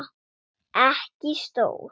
Ekki stór.